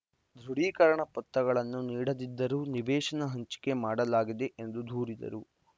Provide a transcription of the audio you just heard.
ದೃಢೀಕರಣ ಪತ್ರಗಳನ್ನು ನೀಡದಿದ್ದರೂ ನಿವೇಶನ ಹಂಚಿಕೆ ಮಾಡಲಾಗಿದೆ ಎಂದು ದೂರಿದರು